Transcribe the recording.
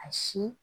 A si